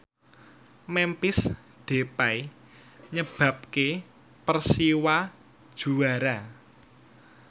Memphis Depay nyebabke Persiwa juara